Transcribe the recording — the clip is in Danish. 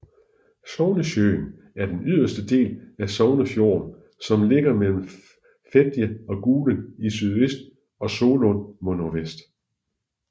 Sognesjøen er den yderste del af Sognefjorden som ligger mellem Fedje og Gulen i sydøst og Solund mod nordvest